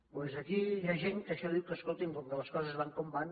doncs aquí hi ha gent que a això diu que escolti’m com que les coses van com van